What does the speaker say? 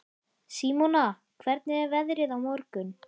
Símona, hvernig er veðrið á morgun?